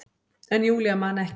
En Júlía man ekki.